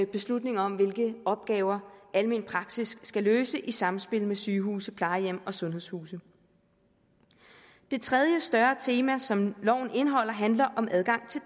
beslutning om hvilke opgaver almen praksis skal løse i samspil med sygehuse plejehjem og sundhedshuse det tredje større tema som loven indeholder handler om adgang til